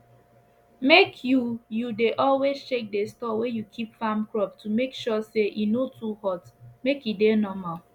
make you you dey always check the store wey you keep farm crop to make sure say e no too hot make e dey normal